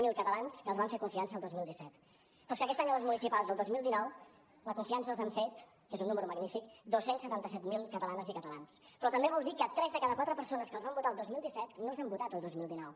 zero catalans que els van fer confiança el dos mil disset però és que aquest any a les municipals el dos mil dinou la confiança els han fet que és un número magnífic dos cents i setanta set mil catalanes i catalans però també vol dir que tres de cada quatre persones que els van votar el dos mil disset no els han votat el dos mil dinou